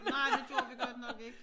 Nej det gjorde vi godt nok ik